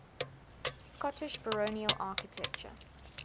scottish baronial architecture